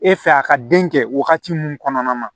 E fɛ a ka den kɛ wagati min kɔnɔna na